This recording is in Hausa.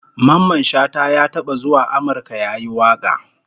Mamman Shata ya taba zuwa Amurka yayi waka